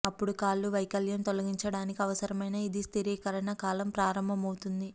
అప్పుడు కాళ్ళు వైకల్పము తొలగించడానికి అవసరమైన ఇది స్థిరీకరణ కాలం ప్రారంభమవుతుంది